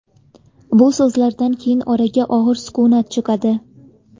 Bu so‘zlardan keyin oraga og‘ir sukunat cho‘kadi.